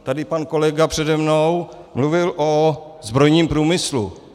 Tady pan kolega přede mnou mluvil o zbrojním průmyslu.